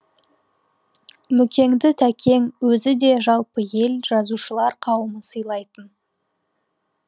мүкеңді тәкең өзі де жалпы ел жазушылар қауымы сыйлайтын